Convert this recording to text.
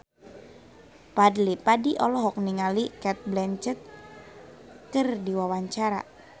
Fadly Padi olohok ningali Cate Blanchett keur diwawancara